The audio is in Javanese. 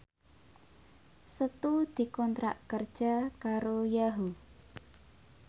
Setu dikontrak kerja karo Yahoo!